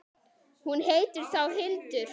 Hún heitir þá Hildur!